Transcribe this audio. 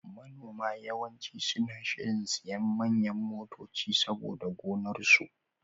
Manoma yawanci suna shirin siyan manyan motoci saboda gonar su.